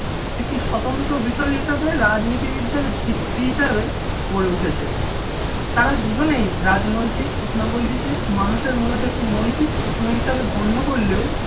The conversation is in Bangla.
একটি স্বতন্ত্র বিষয় হিসেবে রাজনীতিবিদদের ভিত্তি হিসেবে গড়ে উঠেছে, তারা দুজনেই রাজনৈতিক প্রশ্নগুলিকে মানুষের মূলত একটি নৈতিক প্রশ্ন হিসেবে গণ্য করলেও